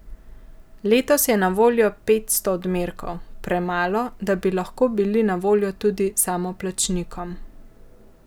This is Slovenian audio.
Letos je na voljo petsto odmerkov, premalo, da bi lahko bili na voljo tudi samoplačnikom.